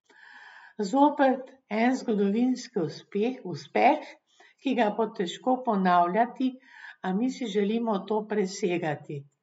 Zopet en zgodovinski uspeh, ki ga bo težko ponavljati, a mi si želimo to presegati.